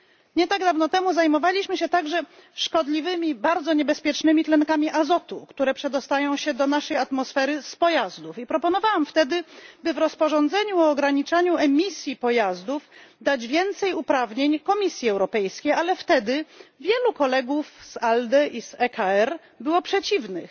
Nie tak dawno temu zajmowaliśmy się także szkodliwymi, bardzo niebezpiecznymi tlenkami azotu, które przedostają się do naszej atmosfery z pojazdów, i proponowałam wtedy, by w rozporządzeniu ograniczaniu emisji pojazdów dać więcej uprawnień Komisji Europejskiej, ale wtedy wielu kolegów z ALDE i z ECR było przeciwnych.